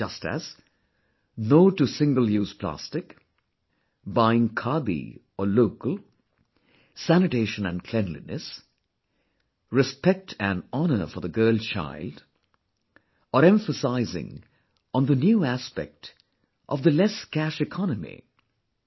Just as, 'No to single use plastic', buying Khadi or 'local', sanitation & cleanliness, respect & honour for the girl child, or emphasizing on the new aspect of 'less cash economy'